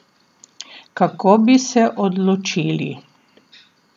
Kako bi se odločili?